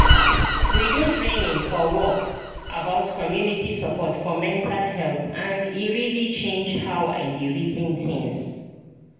we do training for work about community support for mental health and e really change how i dey reason things